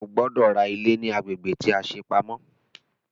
O gbọ́dọ̀ ra ilé ní agbègbè tí a ṣe pamọ́!